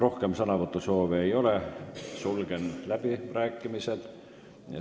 Rohkem sõnavõtusoove ei ole, sulgen läbirääkimised.